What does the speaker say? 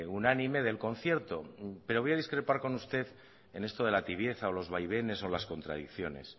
unánime del concierto pero voy a discrepar con usted en esto de la tibieza o los vaivenes o las contradicciones